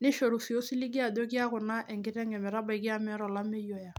nishoru naa osiligi ajo keaku naa enkiteng ometabaiki amu meeta olameyu oya.